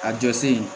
A jɔ sen